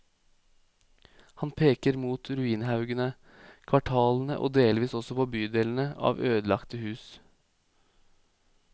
Han peker mot ruinhaugene, kvartalene og delvis også bydelene av ødelagte hus.